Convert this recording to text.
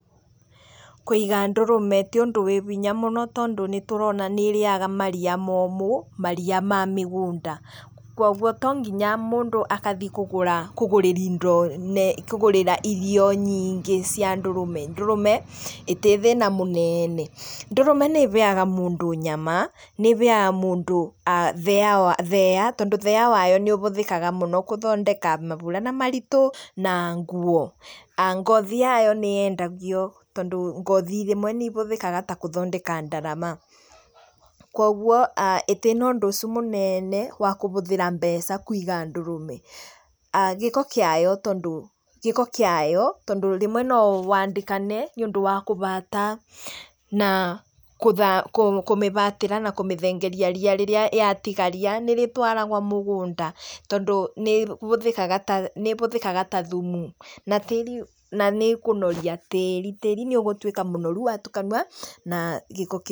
Kũiga ndũrũme ti ũndũ wĩ hinya mũno tondũ nĩ tũrona nĩ ĩrĩaga maria momũ, maria ma mĩgũnda kwoguo to nginya mũndũ agathiĩ kũgũra, kũgũra indo, kũgũrĩra irio nyingĩ cia ndũrũme. ‎Ndũrũme ndĩrĩ thĩna mũnene, ndũrũme nĩĩheaga mũndũ nyama, nĩ ĩheaga mũndũ thĩa wayo, tondũ thĩa wayo, nĩ ũhũthĩkaga mũno gũthondeka maburana maritũ na nguo, ngothi yayo nĩ yendagio, tondũ ngothi rĩmwe nĩ ihũthĩkaga ta gũthondeka ndarama, kwoguo ndĩrĩ ũndũ ũcio mũnene wa kũhũthĩra mbeca, kũiga ndũrũme. Gĩko kĩayo tondũ, gĩko kĩayo tondũ rĩmwe no wandĩkane nĩ ũndũ wa kũhata na gũtha, kũmĩhatĩra na kũmĩthengeria ria rĩrĩa ya tigaria nĩ rĩtwaragwo mũgũnda, tondũ nĩũhũthĩkaga, nĩũhũthĩkaga ta thumu, na tĩri, na nĩ ĩkũnoria tĩri, tĩri nĩ ũgũtuĩka mũnoru watukanio na gĩko kĩu.